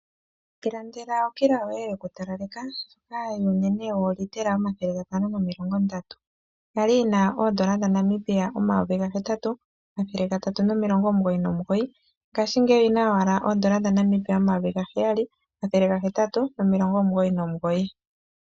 Ilandela okila yoye yokutalaleka onene yoolitela omathele gatano nomilongo ndatu yali yi na oondola dhaNamibia omayovi gahetatu omathele gatatu nomilongo omugoyi nomugoyi ngaashingeyi oyi na owala oondola dhaNamibia omayovi gaheyali omathele gahetatu nomilongo omugoyi nomugoyi.